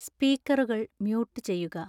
സ്‌പീക്കറുകൾ mute ചെയ്യുക